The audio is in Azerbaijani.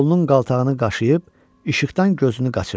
Qolunun qaltağını qaşıyıb işıqdan gözünü qaçırdı.